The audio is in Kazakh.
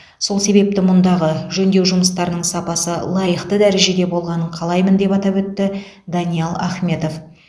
сол себепті мұндағы жөндеу жұмыстарының сапасы лайықты дәрежеде болғанын қалаймын деп атап өтті даниал ахметов